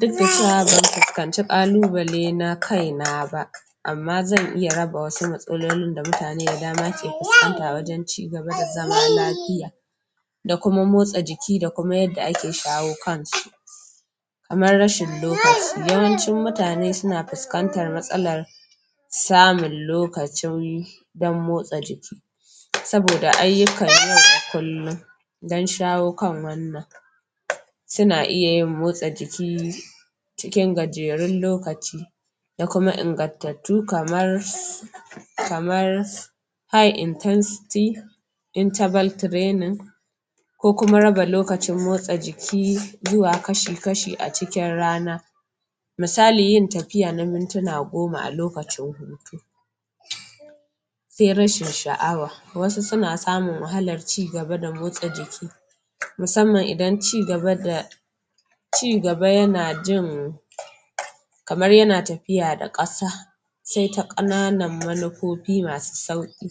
Duk da cewa ban fuskanci ƙalubale na kaina ba amma zan iya raba wasu matsalolin da mutane da dama ke fuskanta wajen cigaba da zama lafiya da kuma motsa jiki da kuma yanda ake shawo kansu. Kamar rashin lokaci, yawancin mutane suna fuskantar matsalar samun lokacin ɗan motsa jiki saboda ayyukan yau da kullum dan shawo kan wannan suna iya yin motsa jiki cikin gajerun lokaci da kuma ingantattu kamar kamar high intensity interval training ko kuma raba lokacin motsa jiki zuwa kaci-kaci a cikin rana misali yin tafiya na mintuna goma a lokacin hutu sai rashin sha'awa. Wasu suna samun wahalar cigaba da motsa jiki musamman idan cigaba da cigaba yana jin kamar yana tafiya da ƙasa sai ta ƙananun manufofi masu sauƙi